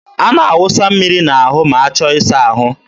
a na-awụsa mmiri n'ahụ ma achọ ịsa ahụ.